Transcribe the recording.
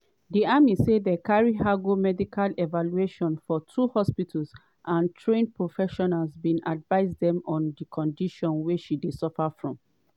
di army say dem carry her go medical evaluations for two hospitals and trained professionals bin advise den on di condition she dey suffer from.